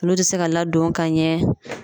Olu tɛ se ka ladon ka ɲɛ.